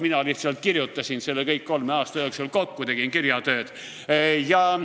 Mina lihtsalt kirjutasin selle kõik kolme aasta jooksul kokku, tegin kirjatööd.